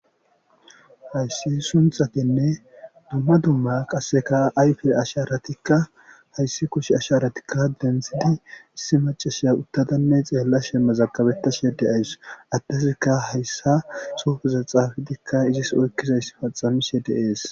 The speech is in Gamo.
Hayssi sunxatenne dumma dumma qasseka ayfe asharatikka hayssi kush asharatikka denzidi issi macasheya uttadanne xeella shemmazakabetta shedeayss attazikka hayssa sufuza xaafitikka izis oykkizayss paxamishe deees.